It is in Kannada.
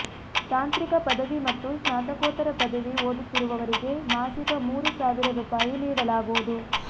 ತಾಂತ್ರಿಕ ಪದವಿ ಮತ್ತು ಸ್ನಾತಕೋತ್ತರ ಪದವಿ ಓದುತ್ತಿರುವವರಿಗೆ ಮಾಸಿಕ ಮೂರು ಸಾವಿರ ರೂಪಾಯಿ ನೀಡಲಾಗುವುದು